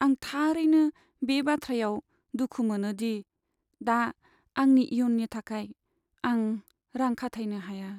आं थारैनो बे बाथ्रायाव दुखु मोनो दि आं दा आंनि इयुननि थाखाय रां खाथायनो हाया।